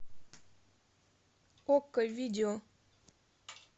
окко видео